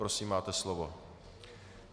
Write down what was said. Prosím, máte slovo.